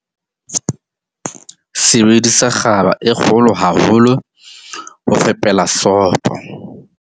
Sebedisa kgaba e kgolo haholo ho fepela sopo.